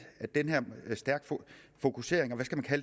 at den her stærke fokusering og